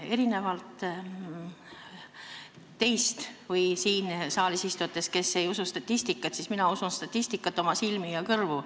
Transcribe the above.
Erinevalt teist või siin saalis istujatest, kes ei usu statistikat, mina usun statistikat, oma silmi ja kõrvu.